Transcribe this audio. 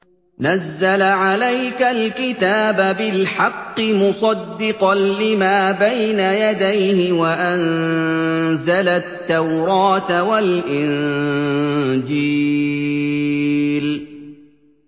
نَزَّلَ عَلَيْكَ الْكِتَابَ بِالْحَقِّ مُصَدِّقًا لِّمَا بَيْنَ يَدَيْهِ وَأَنزَلَ التَّوْرَاةَ وَالْإِنجِيلَ